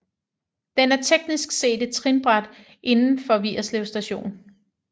Den er teknisk set et trinbræt inden for Vigerslev Station